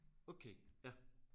Okay ja